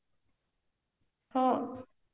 ହଁ